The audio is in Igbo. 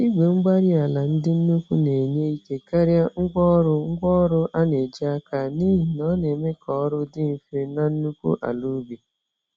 Igwe-mgbárí-ala ndị nnukwu na-enye ike karịa ngwá ọrụ ngwá ọrụ a na-eji n'aka, n'ihi na ọ neme k'ọrụ dị mfe na nnukwu ala ubi